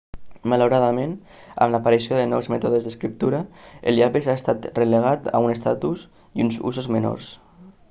malauradament amb l'aparició de nous mètodes d'escriptura el llapis ha estat relegat a un estatus i uns usos menors